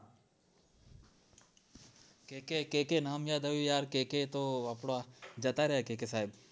કે કે કે કે નામ યાદ આવ્યુ કે કે તો જતા રાયા કે કે સાયબ